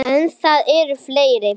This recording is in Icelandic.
En það eru fleiri.